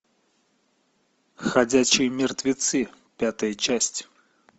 ходячие мертвецы пятая часть